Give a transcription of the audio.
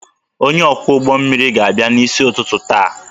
Onye ọkwọ ụgbọ mmiri ga-abịa n'isi ụtụtụ taa